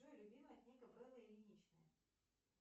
джой любимая книга беллы ильиничны